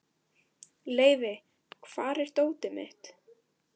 Leivi, hvar er dótið mitt?